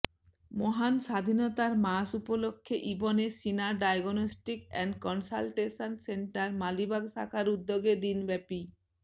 মহান স্বাধীনতার মাস উপলক্ষে Ibn Sina diagnostic and consultation centre Malibagh শাখার উদ্যোগে দিনব্যাপী